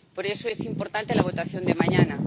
Por eso es importante la votación de mañana.